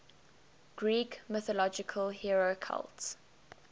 greek mythological hero cult